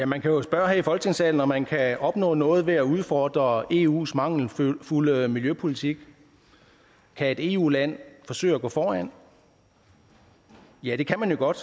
man kan jo spørge her i folketingssalen om man kan opnå noget ved at udfordre eus mangelfulde miljøpolitik kan et eu land forsøge at gå foran ja det kan man godt